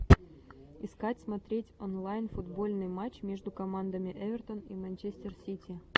искать смотреть онлайн футбольный матч между командами эвертон и манчестер сити